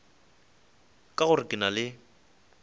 ka gore ke na le